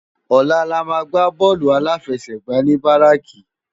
Òlà lámà gbá bòlú áláfèsègbá ni báráki